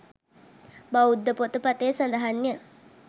බෞද්ධ පොතපතේ සඳහන් ය.